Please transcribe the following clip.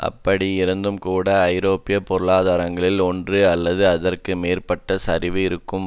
அப்படி இருந்தும்கூட ஐரோப்பிய பொருளாதாரங்களில் ஒன்று அல்லது அதற்கு மேற்பட்ட சரிவு இருக்கும்